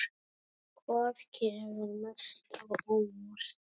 Hvað kemur mest á óvart?